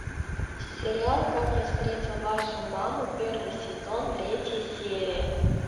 сериал как я встретил вашу маму первый сезон третья серия